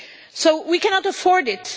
So we cannot afford it.